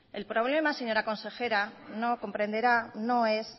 el problema señora consejera comprenderá no es